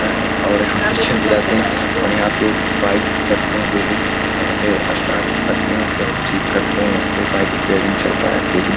और यहां पे चली जाते और यहाँ पे बाइक्स लगते हैं डेली और यहाँ पे स्टार्ट करते है सब ठीक करते हैं यहाँ पे बाइक रिपेयरिंग चलता है डेली ।